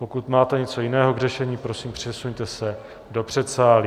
Pokud máte něco jiného k řešení, prosím přesuňte se do předsálí.